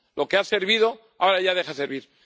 Lo que ha servido, ahora ya deja de servir.